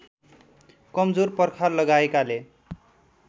कमजोर पर्खाल लगाएकाले